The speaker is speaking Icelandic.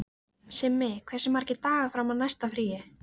Simmi, hversu margir dagar fram að næsta fríi?